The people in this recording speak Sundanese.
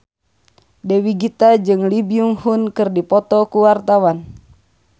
Dewi Gita jeung Lee Byung Hun keur dipoto ku wartawan